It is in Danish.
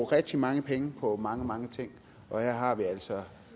rigtig mange penge på mange mange ting og her har vi altså